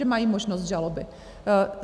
Že mají možnost žaloby.